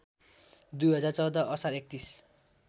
२०१४ असार ३१